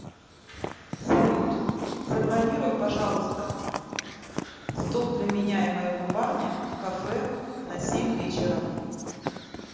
салют забронируй пожалуйста стол для меня и моего парня в кафе на семь вечера